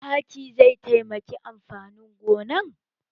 Taki zai taimaki amfanin gonan?